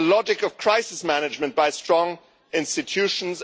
the logic of crisis management by strong institutions